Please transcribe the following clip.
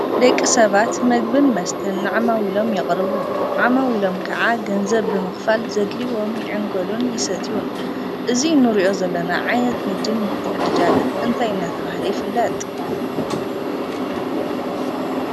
ደቂ ሰባት ምግብን መስተን ንዓማዊሎም የቅርቡ ዓማዊሎም ከዓ ገንዘብ ብምክፋል ዘድልዎም ይዕንገሉን ይሰትዩን። እዚ እንሪኦ ዘለና ዓይነት ንግድን ምትዕድዳግን እንታይ ዳ ተብሃለ ይፍለጥ?